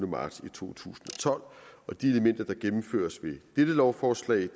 marts to tusind og tolv de elementer der gennemføres ved dette lovforslag